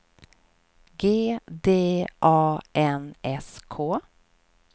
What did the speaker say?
G D A N S K